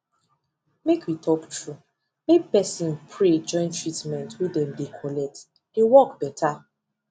make we talk true make person pray join treatment wey dem dey collect dey work better